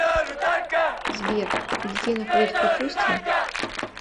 сбер детей находят в капусте